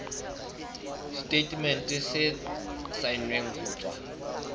setatemente se saennweng ho tswa